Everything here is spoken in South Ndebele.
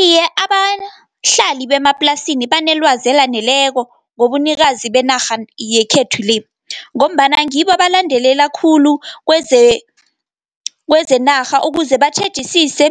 Iye, abahlali bemaplasini banelwazi elaneleko, ngobunikazi benarha yekhethu le, ngombana ngibo abalandela khulu kwezenarha ukuze batjhejisise